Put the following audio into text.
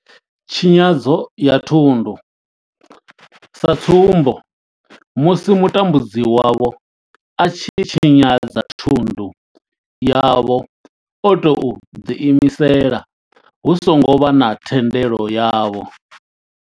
Tshinyadzo ya thundu sa tsumbo, musi mutambudzi wavho a tshi tshinyadza thundu yavho o tou ḓi imisela hu songo vha na thendelo yavho.